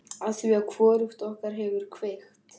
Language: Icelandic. Afþvíað hvorugt okkar hefur kveikt.